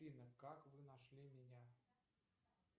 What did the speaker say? афина как вы нашли меня